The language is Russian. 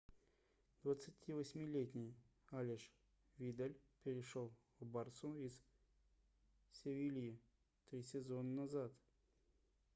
28-летний алеш видаль перешел в барсу из севильи три сезона назад